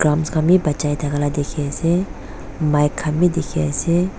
khan wii bachai thakala dikhi ase mike khan wii dikhi ase.